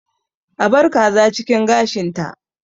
A bar kaza cikin gashinta!